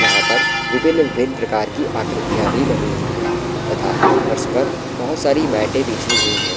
यहाँ पर विभिन-विभिन प्रकार की आकृतियां भी बनी हुई है तथा फर्श पर बोहोत सारी मेटे बिछी हुई हैं।